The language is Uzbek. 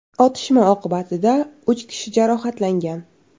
Otishma oqibatida uch kishi jarohatlangan.